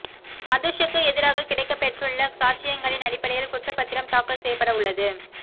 மதுஷுக்கு எதிராகக் கிடைக்கப்பெற்றுள்ள சாட்சியங்களின் அடிப்படையில் குற்றப் பத்திரம் தாக்கல் செய்யப்படவுள்ளது